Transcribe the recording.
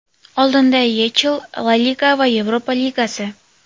Oldinda YeChL, La Liga va Yevropa Ligasi.